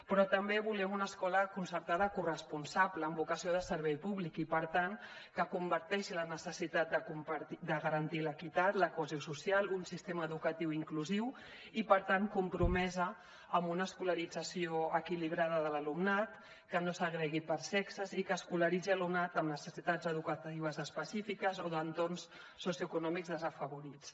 però també volem una escola concertada corresponsable amb vocació de servei públic i per tant que comparteixi la necessitat de garantir l’equitat la cohesió social un sistema educatiu inclusiu i per tant compromesa amb una escolarització equilibrada de l’alumnat que no segregui per sexes i que escolaritzi l’alumnat amb necessitats educatives específiques o d’entorns socioeconòmics desafavorits